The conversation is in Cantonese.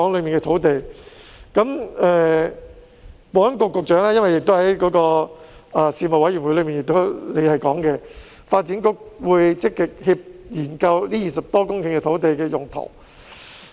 保安局局長在事務委員會提過，發展局會積極研究這20多公頃土地的用途。